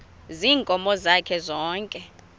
ziinkomo zakhe zonke